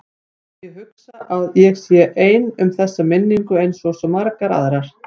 Já, ég hugsa að ég sé ein um þessa minningu einsog svo margar aðrar.